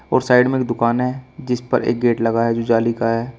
और साइड में एक दुकान है जिस पर एक गेट लगा है जो जाली का है।